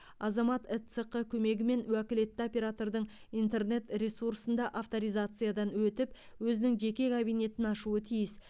азамат эцқ көмегімен уәкілетті оператордың интернет ресурсында авторизациядан өтіп өзінің жеке кабинетін ашуы тиіс